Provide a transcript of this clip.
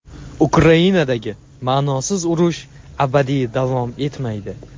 Ukrainadagi "ma’nosiz urush" abadiy davom etmaydi.